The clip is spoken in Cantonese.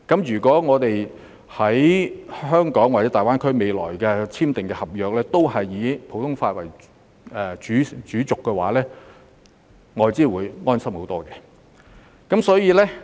如未來在香港或大灣區內簽訂的合約都以普通法為主軸的話，外資會安心很多。